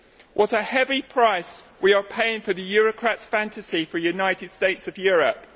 What a heavy price we are paying for the eurocrats' fantasy of a United States of Europe.